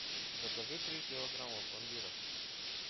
закажи три килограмма пломбира